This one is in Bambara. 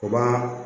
O b'a